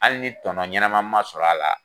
Hali ni tɔɔnɔ ɲɛnama ma sɔrɔ a la.